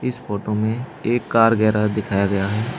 इस फोटो में एक कार गैराज दिखाया गया है।